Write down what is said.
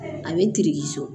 A bɛ so